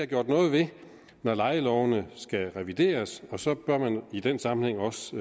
gjort noget ved når lejeloven skal revideres og så bør man i den sammenhæng også